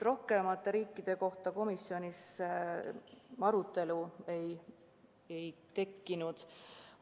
Rohkemate riikide kohta komisjonis arutelu ei tekkinud.